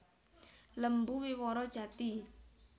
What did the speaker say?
Lembu Wiworo Jati